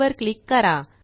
वर क्लिक करा